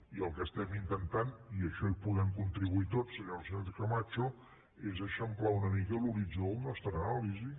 i el que estem intentant i a això hi podem contribuir tots senyora sánchez camacho és eixamplar una mica l’horitzó de la nostra anàlisi